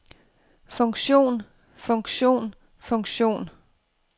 funktion funktion funktion